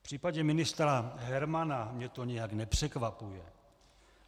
V případě ministra Hermana mě to nijak nepřekvapuje.